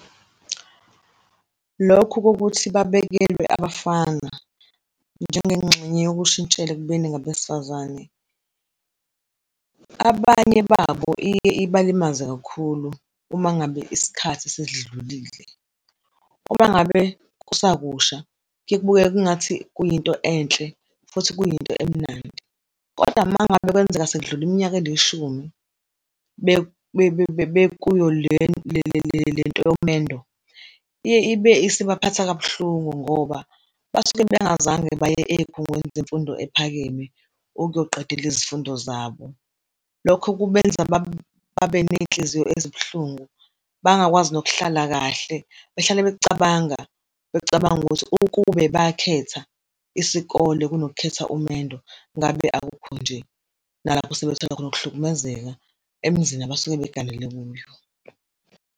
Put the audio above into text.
Lokhu kokuthi babekelwe abafana njengengxenye yokushintshela ekubeni ngabesifazane, abanye babo iye ibalimaze kakhulu uma ngabe isikhathi sesidlulile, uma ngabe kusakusha kuye kubukeke kungathi kuyinto enhle futhi kuyinto emnandi. Koda uma ngabe kwenzeka sekudlule iminyaka elishumi bekuyo lento yomendo iye ibe isibaphatha kabuhlungu ngoba basuke bengazange baye eyikhungweni zemfundo ephakeme ukuyoqedela izifundo zabo. Lokho kubenza babe ney'nhliziyo ezibuhlungu, bangakwazi nokuhlala kahle behlale bekucabanga, becabanga ukuthi ukube bakhetha isikole kunokukhetha umendo ngabe akukho nje, nalapho sebethola khona ukuhlukumezeka emzini abasuke beganele kuyo.